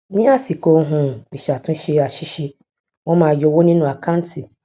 ni asiko um isatunse asise won maa yo owo ninu akanti